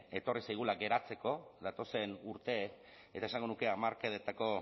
etorri zaigula geratzeko datozen urte eta esango nuke hamarkadetako